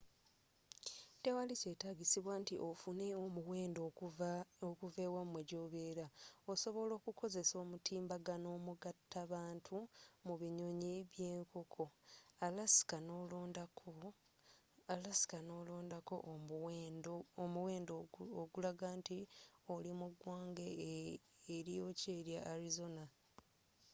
tewali kyetaagisibwa nti offune omuwendo okuva ewamwe gyobera osobola okukozesa omutimbagano omugatta bantu mu binyonyi byenkoko alaska n'olondako omuwendo ogulaga nti oli mu ggwanga eryokya erya arizona